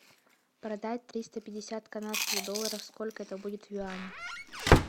продать триста пятьдесят канадских долларов сколько это будет в юанях